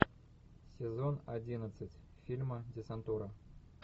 сезон одиннадцать фильма десантура